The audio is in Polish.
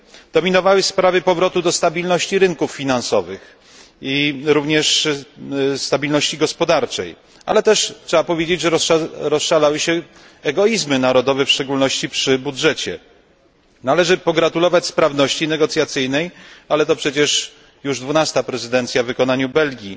Dominowały sprawy powrotu do stabilności rynków finansowych, jak również stabilności gospodarczej, ale też trzeba powiedzieć, że rozszalały się egoizmy narodowe, w szczególności przy budżecie. Należy pogratulować sprawności negocjacyjnej, ale to przecież już dwunasta prezydencja w wykonaniu Belgii.